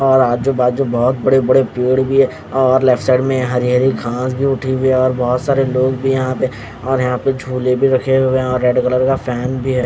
और आजूबाजू बहोत बड़े बड़े पेढ भी है और लेफ्ट साइड मैं हरी हरी घास भी उठी हुए है और बहोत सारे लोग भी है यह पे और यहां पे झूले भी रखे हुए हे और रेड कलर का फैन भी हैं।